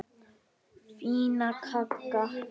Fínan kagga!